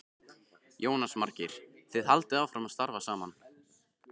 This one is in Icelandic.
Jónas Margeir: Þið haldið áfram að starfa saman?